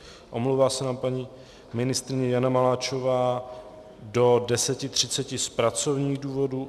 Omlouvá se nám paní ministryně Jana Maláčová do 10.30 z pracovních důvodů.